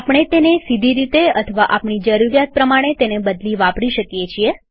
આપણે તેને સીધી રીતે અથવા આપણી જરૂરીયાત પ્રમાણે તેને બદલી વાપરી શકીએ છીએ